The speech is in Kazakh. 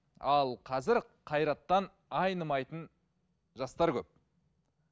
ал қазір қайраттан айнымайтын жастар көп